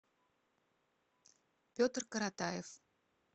петр коротаев